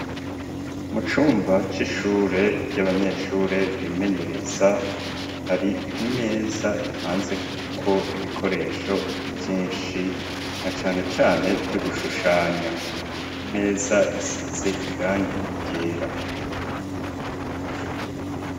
Mu cumba c'ishure ry'abanyeshure bimenyereza, hari imeza ipanzeko ibikoresho vyinshi, na cane cane vy'ugushushanya, iyi meza isize irangi ryera.